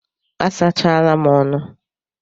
A sachala m ọnụ.